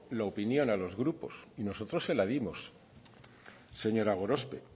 la opinión a los grupos y nosotros de la dimos señora gorospe